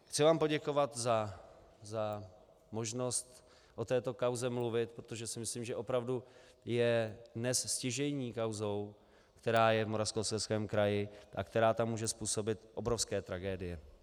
Chci vám poděkovat za možnost o této kauze mluvit, protože si myslím, že opravdu je dnes stěžejní kauzou, která je v Moravskoslezském kraji a která tam může způsobit obrovské tragédie.